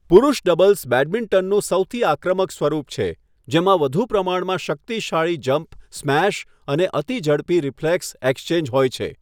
પુરૂષ ડબલ્સ બેડમિન્ટનનું સૌથી આક્રમક સ્વરૂપ છે, જેમાં વધુ પ્રમાણમાં શક્તિશાળી જમ્પ સ્મેશ અને અતિ ઝડપી રિફ્લેક્સ એક્સચેન્જ હોય છે.